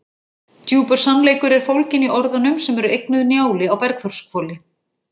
Djúpur sannleikur er fólginn í orðunum sem eru eignuð Njáli á Bergþórshvoli.